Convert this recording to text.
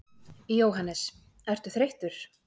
Jóhannes: Ertu þreyttur?